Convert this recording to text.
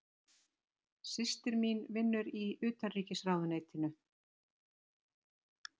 Systir mín vinnur í Utanríkisráðuneytinu.